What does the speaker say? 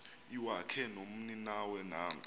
iwakhe nomninawe nanko